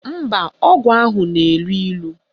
Mba, ọgwụ ahụ na-elu ilu